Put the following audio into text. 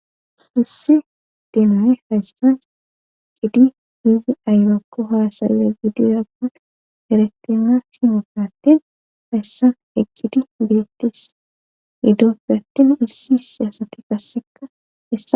issi dimane hayssan eqidi hizi ayrakko haasayiya biidirakon eretema sine fiattin hayssan eqqidi beettis ni dooppe attin issi issi asati gasseka esa